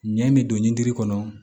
Ɲɛ min don ɲindini kɔnɔ